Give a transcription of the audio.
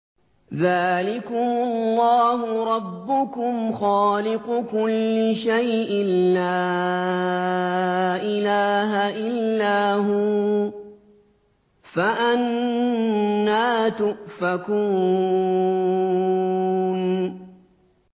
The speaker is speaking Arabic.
ذَٰلِكُمُ اللَّهُ رَبُّكُمْ خَالِقُ كُلِّ شَيْءٍ لَّا إِلَٰهَ إِلَّا هُوَ ۖ فَأَنَّىٰ تُؤْفَكُونَ